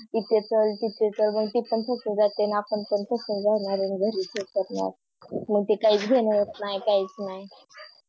ईथे चाल तिथे चाल मग ती पण थकून जाते आणि आपण पण थकून जाणार आहे घरी मागते काही घेणं होत नाही काहीच नाही